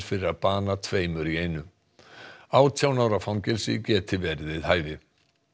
fyrir að bana tveimur í einu átján ára fangelsi geti verið við hæfi